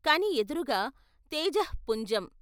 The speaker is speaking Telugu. కాని ఎదురుగా తేజఃపుంజం.